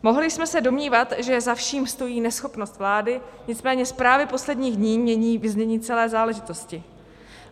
Mohli jsme se domnívat, že za vším stojí neschopnost vlády, nicméně zprávy posledních dní mění vyznění celé záležitosti.